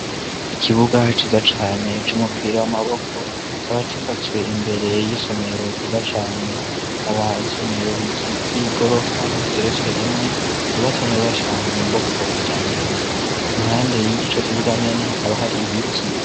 Ikibuga ciza cane c' umupira w'amaboko kikaba cubatswe imbere y'isomero ryiza cane kaba ri isomero ry'igorofa igeretswe rimwe ryubatse neza cane mu bwoko bwa kijambere impande y'ico kibuga nyene hakaba hari ibiti.